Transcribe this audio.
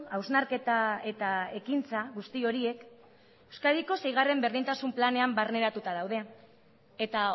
hausnarketa eta ekintza guzti horiek euskadiko seigarren berdintasun planean barneratuta daude eta